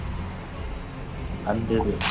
அந்த இது